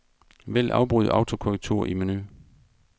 Vælg afbryd autokorrektur i menu.